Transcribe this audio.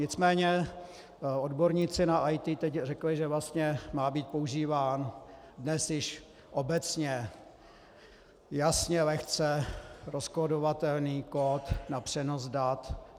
Nicméně odborníci na IT teď řekli, že vlastně má být používán dnes již obecně jasně, lehce rozkódovatelný kód na přenos dat.